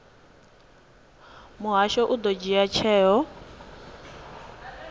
muhasho u ḓo dzhia tsheo